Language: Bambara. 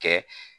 Kɛ